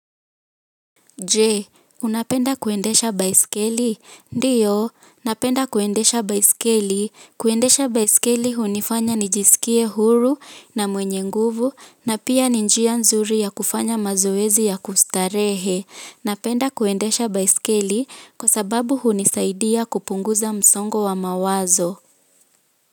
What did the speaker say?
Je unapenda kuendesha baiskeli ndiyo, napenda kuendesha baiskeli. Kuendesha baiskeli hunifanya nijisikie huru na mwenye nguvu na pia ni njia nzuri ya kufanya mazoezi ya kustarehe. Napenda kuendesha baiskeli kwa sababu hunisaidia kupunguza msongo wa mawazo.